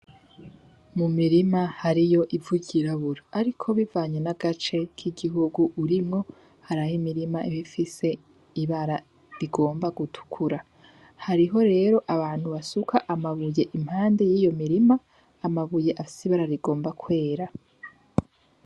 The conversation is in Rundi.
Mu mirima hariyo ivu ry'irabura, ariko bivanye n'agace k'igihugu urimwo haraho imirima iba ifise ibara rigomba gutukura hariho rero abantu basuka amabuye impande y'iyo mirima amabuye afise ibara rigomba kwera.